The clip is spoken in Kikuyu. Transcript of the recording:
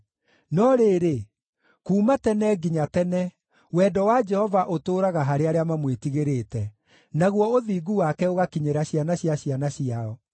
No rĩrĩ, kuuma tene nginya tene wendo wa Jehova ũtũũraga harĩ arĩa mamwĩtigĩrĩte, naguo ũthingu wake ũgakinyĩra ciana cia ciana ciao,